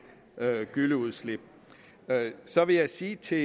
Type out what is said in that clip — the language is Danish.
gylleudslip så vil jeg sige til